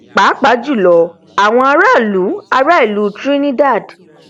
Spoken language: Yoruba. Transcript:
pàápàá jùlọ àwọn ará ìlú ará ìlú trinidad